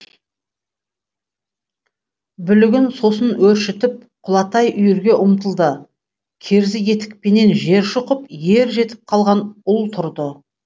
бүлігін сосын өршітіп құлатай үйірге ұмтылды керзі етікпенен жер шұқып ер жетіп қалған ұл тұрды